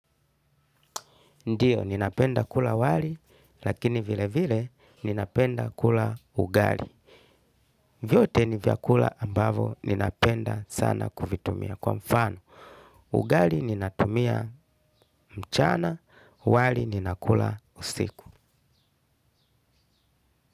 Ndiyo, ninapenda kula wali, lakini vile vile ninapenda kula ugali. Vyote ni vyakula ambavo ninapenda sana kuvitumia. Kwa mfano, ugali ninatumia mchana, wali ninakula usiku.